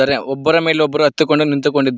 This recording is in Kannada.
ಒಬ್ಬರ ಮೇಲೆ ಒಬ್ಬರು ಹತ್ತಿಕೊಂಡು ನಿಂತುಕೊಂಡಿದ್ದ--